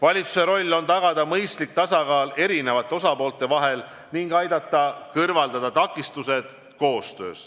Valitsuse roll on tagada mõistlik tasakaal eri osapoolte huvide vahel ning aidata kõrvaldada takistused koostöös.